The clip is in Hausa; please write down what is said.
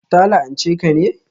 Ta la'anche ka ne?